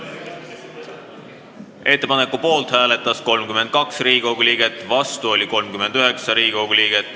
Hääletustulemused Ettepaneku poolt hääletas 32 ja vastu oli 39 Riigikogu liiget.